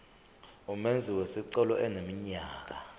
umenzi wesicelo eneminyaka